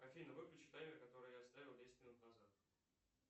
афина выключи таймер который я ставил десять минут назад